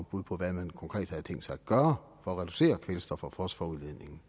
bud på hvad man konkret havde tænkt sig at gøre for at reducere kvælstof og fosforudledningen